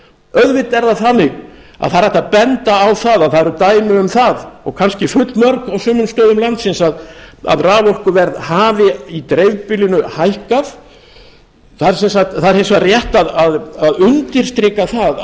auðvitað er það þannig að það er hægt að benda á að það eru dæmi um það og kannski fullmörg á sumum stöðum landsins að raforkuverð hafi í dreifbýlinu hækkað það er hins vegar rétt að undirstrika það